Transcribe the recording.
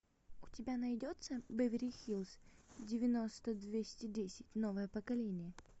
у тебя найдется беверли хиллз девяносто двести десять новое поколение